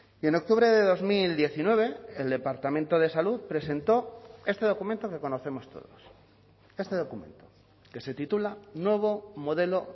y en octubre de dos mil diecinueve el departamento de salud presentó este documento que conocemos todos este documento que se titula nuevo modelo